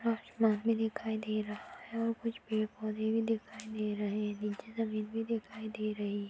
ऊपर आसमान भी दिखाई दे रहा है और कुछ पेड़-पौधे भी दिखाई दे रहे है नीचे जमीन भी दिखाई दे रही--